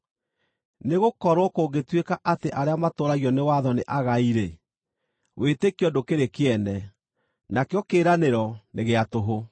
Nĩgũkorwo kũngĩtuĩka atĩ arĩa matũũragio nĩ watho nĩ agai-rĩ, wĩtĩkio ndũkĩrĩ kĩene, nakĩo kĩĩranĩro nĩ gĩa tũhũ,